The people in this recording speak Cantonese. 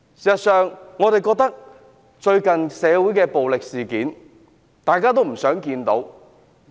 事實上，最近社會不斷發生暴力事件，大家也不想看到。